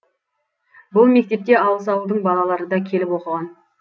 бұл мектепте алыс ауылдың балалары да келіп оқыған